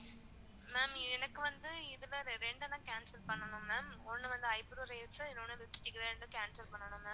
ma'am எனக்கு வந்து இதுல இரண்டு தான் cancel பண்ணனும் ma'am ஒன்னு வந்து eyebrow eraser இன்னொன்னு வந்து lipstick cancel பண்ணனும் ma'am